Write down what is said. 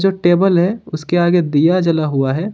एक टेबल है उसके आगे दिया जला हुआ है।